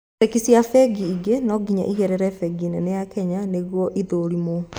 Cheki cia bengi ingĩ no nginya igerere bengi nene ya Kenya nĩguo ithũrimwo